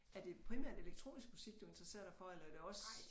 Er det primært elektronisk musik du interesserer dig for eller er det også